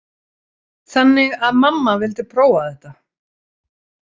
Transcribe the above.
Þannig að mamma vildi prófa þetta.